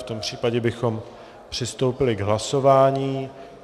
V tom případě bychom přistoupili k hlasování.